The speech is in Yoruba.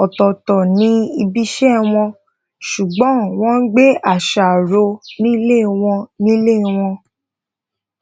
ototo ni ibise won sugbon won gbe asa ro nile won nile won